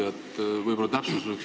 Auväärt küsija!